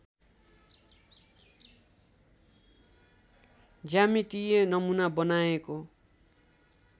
ज्यामितीय नमूना बनाएको